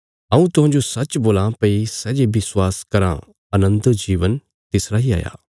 हऊँ तुहांजो सच्च बोलां भई सै जे विश्वास कराँ अनन्त जीवन तिसरा इ हाया